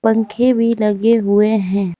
पंखे भी लगे हुए है।